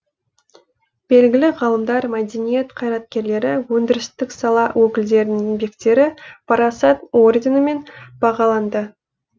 белгілі ғалымдар мәдениет қайраткерлері өндірістік сала өкілдерінің еңбектері парасат орденімен бағаланды